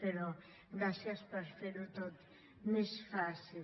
però gràcies per fer ho tot més fàcil